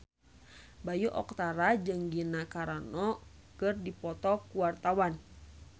Bayu Octara jeung Gina Carano keur dipoto ku wartawan